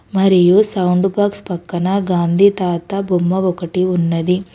మరియు sound box పక్కన గాంధీ తాత బొమ్మ ఒకటి ఉన్నది.